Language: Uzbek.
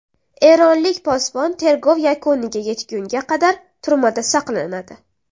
Eronlik posbon tergov yakuniga yetgunga qadar turmada saqlanadi.